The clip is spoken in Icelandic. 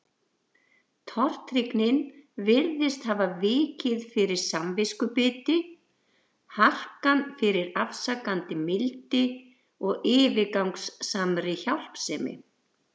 Tortryggnin virtist hafa vikið fyrir samviskubiti, harkan fyrir afsakandi mildi og yfirgangssamri hjálpsemi.